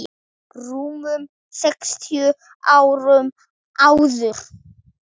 rúmum sextíu árum áður.